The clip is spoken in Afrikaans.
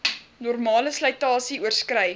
normale slytasie oorskrei